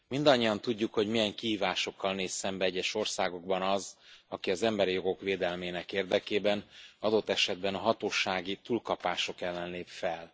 Mindannyian tudjuk, hogy milyen kihívásokkal néz szembe egyes országokban az, aki az emberi jogok védelmének érdekében, adott esetben a hatósági túlkapások ellen lép fel.